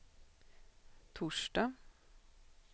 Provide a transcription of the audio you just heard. torsdag